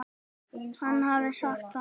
Hann hafði sagt það.